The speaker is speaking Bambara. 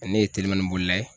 Ɛ ne ye telimani bolila ye